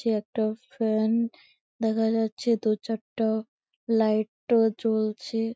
সে একটা ফ্যান দেখা যাচ্ছে দুচারটা লাইট ও জ্বলছে ।